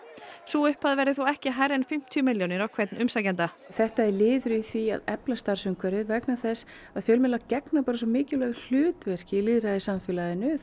sú upphæð verði þó ekki hærri en fimmtíu milljónir á hvern umsækjanda þetta er liður í því að efla starfsumhverfið vegna þess að fjölmiðlar gegna svo mikilvægu hlutverki í lýðræðissamfélaginu